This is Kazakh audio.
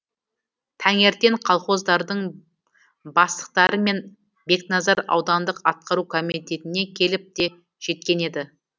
таңертең колхоздардың бастықтары мен бекназар аудандық атқару комитетіне келіп те жеткен еді